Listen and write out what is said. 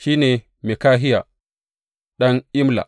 Shi ne Mikahiya ɗan Imla.